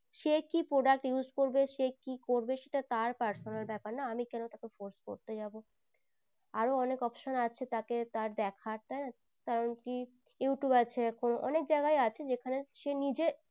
সে কি product use করবে সে কি করবে সেটা তার personal ব্যাপার না আমি তাকে কানে force করতে যাবো আরো অনেক option আছে তাকে তার দেখার তাই না কারণ কি youtube আছে এখন অনেক জাইগায় আছে যেখানে সে নিজে